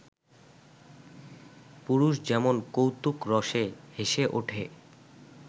পুরুষ যেমন কৌতুকরসে হেসে ওঠে